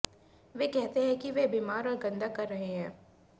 वे कहते हैं कि वे बीमार और गंदा कर रहे हैं